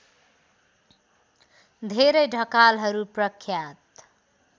धेरै ढकालहरू प्रख्यात